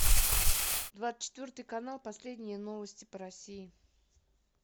двадцать четвертый канал последние новости по россии